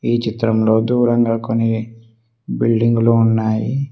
ఈ చిత్రంలో దూరంగా కొన్ని బిల్డింగులు ఉన్నాయి.